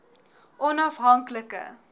onaf hank like